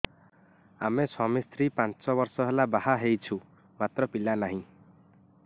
ଆମେ ସ୍ୱାମୀ ସ୍ତ୍ରୀ ପାଞ୍ଚ ବର୍ଷ ହେଲା ବାହା ହେଇଛୁ ମାତ୍ର ପିଲା ନାହିଁ